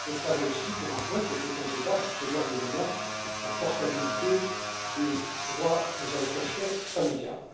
Cela vaut aussi pour un point qui était en débat jusqu'au dernier moment la portabilité des droits aux allocations familiales.